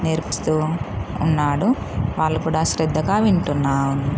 నేర్పిస్తూ ఉన్నాడు. వాళ్ళు కూడా శ్రద్ధగా వింటున్నారు.